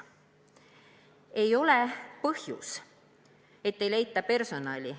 See ei ole põhjus, et ei leita personali.